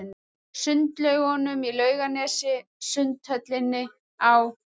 Sundlaugunum í Laugarnesi, Sundhöllinni, á